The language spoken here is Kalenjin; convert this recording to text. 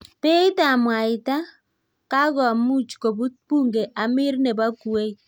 Peeit ab mwaita:Kakomuuch kobuut bunge Amir neboo kuwait